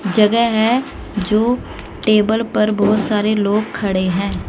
जगह हैं जो टेबल पर बहुत सारे लोग खड़े हैं।